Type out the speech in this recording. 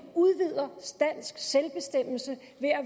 udvider dansk selvbestemmelse